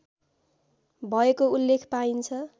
भएको उल्लेख पाइन्छ